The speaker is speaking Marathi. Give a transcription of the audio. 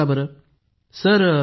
पूनम नौटियालःहांजी सर